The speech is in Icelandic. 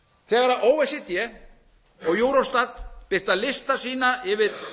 þegar o e c d og eurostat birta lista sína yfir